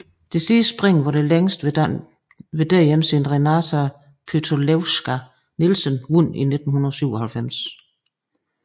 Det sidste spring var det længste ved et DM siden Renata Pytelewska Nielsen vandt i 1997